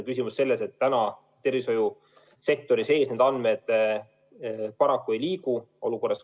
Küsimus on selles, et praegu need andmed tervishoiusektori sees paraku ei liigu.